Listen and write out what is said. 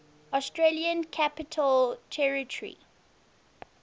australian capital territory